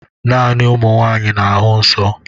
Naanị ụmụ nwanyị na-ahụ nsọ